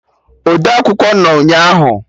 Odeakwụkwọ nọ ụnyaahụ